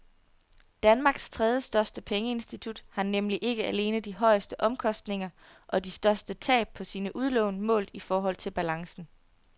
Danmarks tredjestørste pengeinstitut har nemlig ikke alene de højeste omkostninger og de største tab på sine udlån målt i forhold til balancen.